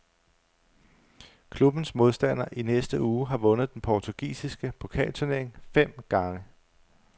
Klubbens modstander i næste uge har vundet den portugisiske pokalturnering fem gange.